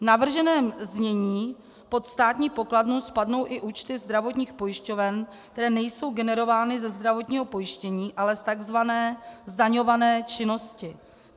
V navrženém znění pod státní pokladnu spadnou i účty zdravotních pojišťoven, které nejsou generovány ze zdravotního pojištění, ale z tzv. zdaňované činnosti.